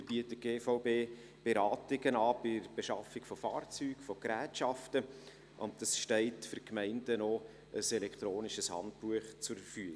Weiter bietet die GVB Beratungen bei der Beschaffung von Fahrzeugen, von Gerätschaften an, und für die Gemeinden steht auch ein elektronisches Handbuch zur Verfügung.